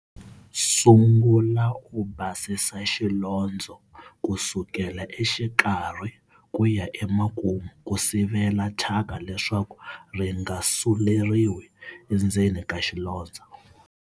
Sungula u basisa xilondzo ku sukela exikarhi ku ya emakumu ku sivela thyaka leswaku ri nga suleriwi endzeni ka xilondzo.